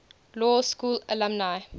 law school alumni